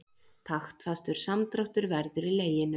Taktfastur samdráttur verður í leginu.